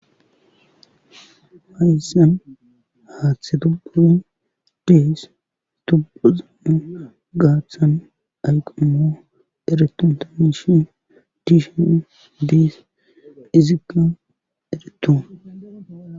mayssan haaththe tobbur dees stubuzama gaathan ayqamo ereton tanishin diishen diis izika eretu